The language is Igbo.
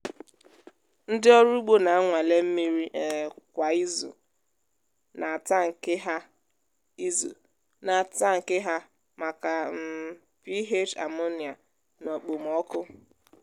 ndị ọrụ ugbo na-anwale mmiri um kwa izu n’atankị ha izu n’atankị ha maka um ph ammonia na okpomọkụ.